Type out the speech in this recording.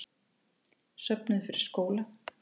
Söfnuðu fyrir skóla